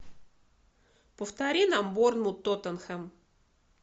повтори нам борнмут тоттенхэм